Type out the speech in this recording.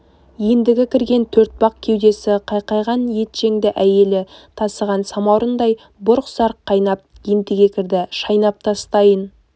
ендігі кірген төртбақ кеудесі қайқайған етжеңді әйелі тасыған самаурындай бұрқ-сарқ қайнап ентіге кірді шайнап тастайын